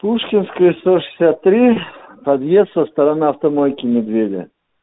пушкинская сто шестьдесят три подъезд со стороны автомойки медведя